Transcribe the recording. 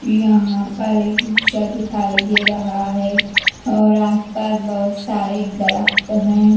यहाँ पर एक रिक्शा दिखाई दे रहा है और आस पास बहुत सारे दरख्त हैं।